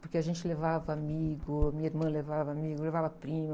Porque a gente levava amigo, minha irmã levava amigo, levava prima.